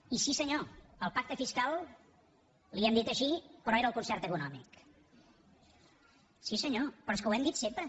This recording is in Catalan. i sí senyor al pacte fiscal li hem dit així però era el concert econòmic sí senyor però és que ho hem dit sempre